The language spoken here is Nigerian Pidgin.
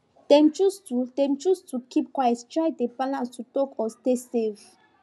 dem choose to dem choose to keep quiet dey try balance to talk or stay safe